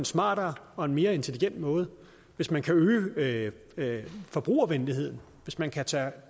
smartere og en mere intelligent måde hvis man kan øge forbrugervenligheden hvis man kan tage